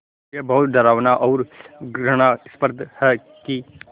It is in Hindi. ये बहुत डरावना और घृणास्पद है कि